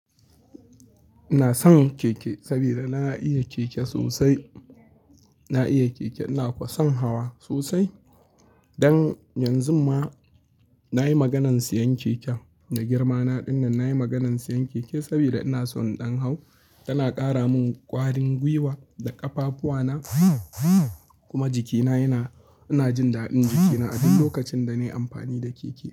Ina son keke sabida na iya keke sosai. Na iya keke, ina ko son hawa sosai. Dan yanzun ma na yi maganar siyan keke da girmana ɗin nan. Na yi maganar siyan keke saboda ina son ɗan hau. Tana ƙara min ƙwarin gwiwa da ƙafafuwana, kuma jikina yana Ina jin daɗin jikina a duk lokacin da na yi amfani da keke.